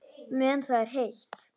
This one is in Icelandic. Meðan það er heitt.